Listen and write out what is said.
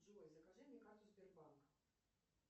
джой закажи мне карту сбербанка